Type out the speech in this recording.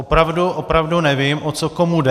Opravdu, opravdu nevím, o co komu jde.